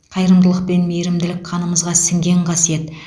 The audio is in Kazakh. қайырымдылық пен мейірімділік қанымызға сіңген қасиет